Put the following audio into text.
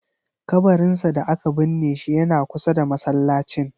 Kabarinsa da aka binne shi yana kusa da masallacin.